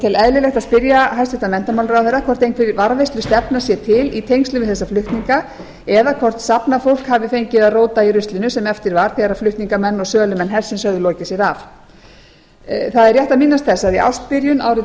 tel eðlilegt að spyrja hæstvirtan menntamálaráðherra hvort einhver varðveislustefna sé til í tengslum við þessa flutninga eða hvort safnafólk hafi fengið að róta í ruslinu sem eftir var þegar flutningamenn og sölumenn hersins höfðu lokið sér af það er rétt að minnast þess að í ársbyrjun árið